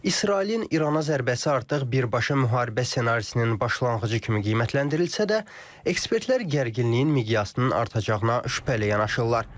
İsrailin İrana zərbəsi artıq birbaşa müharibə ssenarisinin başlanğıcı kimi qiymətləndirilsə də, ekspertlər gərginliyin miqyasının artacağına şübhə ilə yanaşırlar.